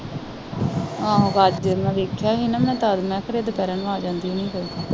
ਆਹੋ ਮੈਂ ਵੇਖਿਆ ਨਹੀਂ ਨਾ, ਮੈਂ ਫੇਰ ਇਹ ਦੁਪਹਿਰੇ ਨੂੰ ਆ ਜਾਂਦੀ ਹੈ